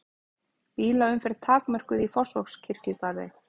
Bílaumferð takmörkuð í Fossvogskirkjugarði